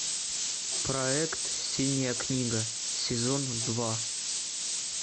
проект синяя книга сезон два